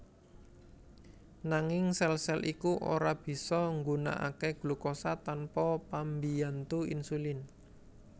Nanging sèl sèl iku ora bisa nggunakaké glukosa tanpa pambiyantu insulin